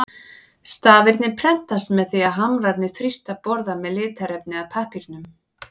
Stafirnir prentast með því að hamrarnir þrýsta borða með litarefni að pappírnum.